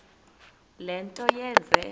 le nto yenze